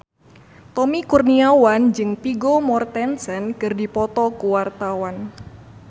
Tommy Kurniawan jeung Vigo Mortensen keur dipoto ku wartawan